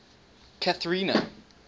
cathrina